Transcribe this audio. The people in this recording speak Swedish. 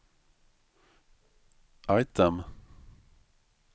item